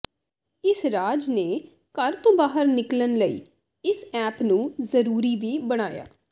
ਇਸ ਰਾਜ ਨੇ ਘਰ ਤੋਂ ਬਾਹਰ ਨਿਕਲਣ ਲਈ ਇਸ ਐਪ ਨੂੰ ਜ਼ਰੂਰੀ ਵੀ ਬਣਾਇਆ